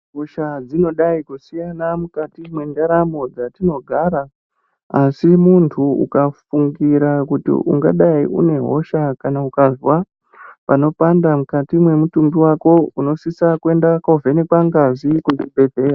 Hosha dzinodai kusiyana mwukati kwendaramo dzatinogara, asi muntu ukafungira kuti ungadai une hosha kana ukazwa panopanda mwukati mwemutumbi wako, unosisa kuenda kovhenekwa ngazi kuzvibhedhleya.